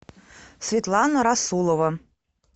светлана расулова